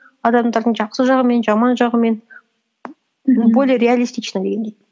адамдардың жақсы жағымен жаман жағымен более реалистично дегендей